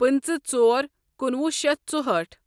پٕنٛژٕہ ژور کُنوُہ شیتھ ژُہأٹھ